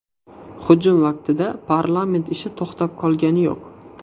Hujum vaqtida parlament ishi to‘xtab qolgani yo‘q.